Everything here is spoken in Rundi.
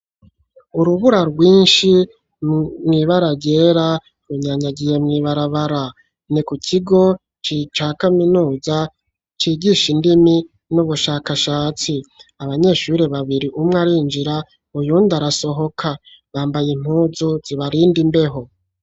Urubura rwinshi mwibararyera runyanyagiye mwibarabara, ni ku kigo c'ica kaminuza c'igisha indimi n'ubushakashatsi abanyeshuri babiri umwe arinjira uyunda arasohoka bambaye impuzu zibarinda imbeho.